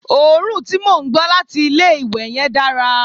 òórùn tí mò ń gbọ́ láti ilé ìwẹ̀ yen dára